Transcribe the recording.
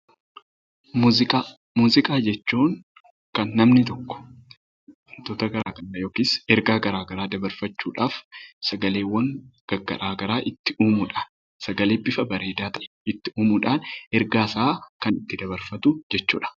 Muuziqaa Muuziqaa jechuun kan namni tokko ergaa garaagaraa dabarfachuudhaaf sagaleewwan garaagaraa itti uumudha. Sagalee bifa bareedaa itti uumuudhaan ergaa isaa kan itti dabarfatu jechuudha.